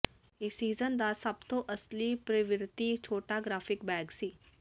ਇਸ ਸੀਜ਼ਨ ਦਾ ਸਭ ਤੋਂ ਅਸਲੀ ਪ੍ਰਵਿਰਤੀ ਛੋਟਾ ਗ੍ਰਾਫਿਕ ਬੈਗ ਸੀ